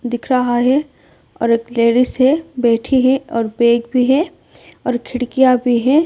दिख रहा है और एक लेडीज है बैठी है और बैग भी है और खिड़कियां भी है।